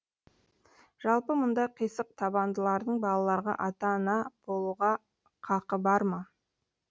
жалпы мұндай қисық табандылардың балаларға ата ана болуға қақы бар ма